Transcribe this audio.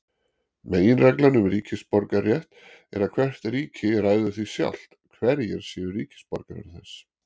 Meginreglan um ríkisborgararétt er að hvert ríki ræður því sjálft hverjir séu ríkisborgarar þess.